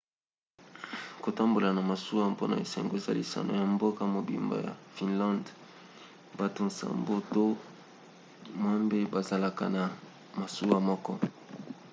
kotambola na masuwa mpona esengo eza lisano ya mboka mobimba ya finlande bato nsambo to mwambe bazalaka na masuwa moko